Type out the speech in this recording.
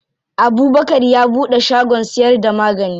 Abubkar ya buɗe shagon siyar da magani.